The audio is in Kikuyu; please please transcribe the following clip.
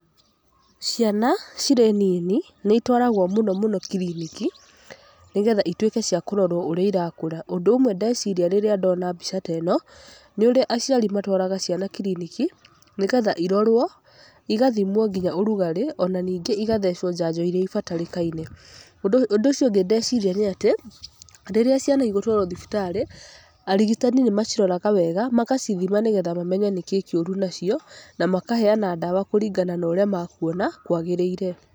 Ciana cirĩ nini nĩitwaragwo mũno mũno kiriniki, nĩgetha ituĩke cia kũrorwo ũrĩa irakũra. Ũndũ ũmwe ndeciria rĩrĩa ndona mbica ta ĩno nĩ ũrĩa aciari matwaraga ciana kiriniki, nĩgetha irorwo igathimwo nginya ũrugarĩ ona ningĩ igathecwo njanjo ĩrĩa ĩbatarĩkaine. Ũndũ ũcio ũngĩ ndeciria nĩ atĩ rĩrĩa ciana igũtwarwo thibitarĩ arigitani nĩmaciroraga wega magacithima, nĩgetha mamenye nĩkĩĩ kĩũru nacio na makaheyana ndawa kũringana na ũrĩa makuona kwagĩrĩire.